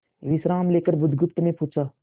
विश्राम लेकर बुधगुप्त ने पूछा